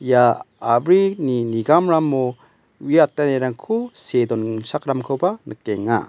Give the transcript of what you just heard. ia a·brini nigamramo uiatanirangko see donchakramkoba nikenga.